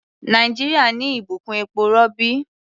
Nàìjíríà ní ìbùkún epo-rọ̀bì.